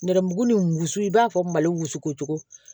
Nɛrɛmuguma ni wusu i b'a fɔ mali wusu ko cogo